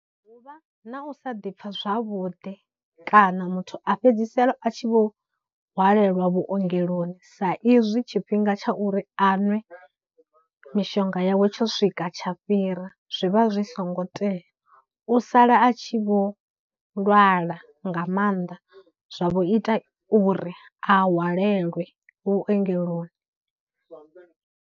U vha na u sa ḓi pfha zwavhuḓi kana muthu a fhedzisela a tshi vho hwalelwa vhuongeloni sa izwi tshifhinga tsha uri a nwe mishonga yawe tsho swika tsha fhira zwivha zwi songo tea, u sala a tshi vho lwala nga mannḓa zwa vho ita uri a hwalelwe vhuongeloni.